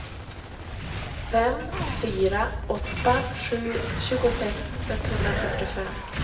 fem fyra åtta sju tjugosex etthundrafyrtiofem